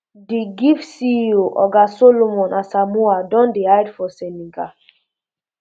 di giif ceo um oga um solomon asamoah don dey hide for senegal